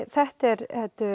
þetta er